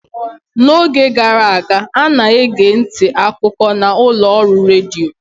n'oge gara aga, a na-ege ntị akụkọ na ụlọ ọrụ redio